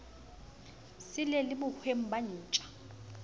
sele le bohweng ba ntja